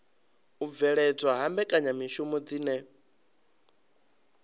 u bveledzwa ha mbekanyamishumo dzine